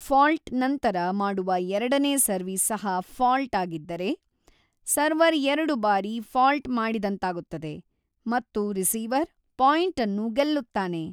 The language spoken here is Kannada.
ಫಾಲ್ಟ್‌ ನಂತರ ಮಾಡುವ ಎರಡನೇ ಸರ್ವೀಸ್ ಸಹ ಫಾಲ್ಟ್‌ ಆಗಿದ್ದರೆ, ಸರ್ವರ್ ಎರಡು ಬಾರಿ ಫಾಲ್ಟ್‌ ಮಾಡಿದಂತಾಗುತ್ತದೆ ಮತ್ತು ರಿಸೀವರ್‌ ಪಾಯಿಂಟ್‌ ಅನ್ನು ಗೆಲ್ಲುತ್ತಾನೆ.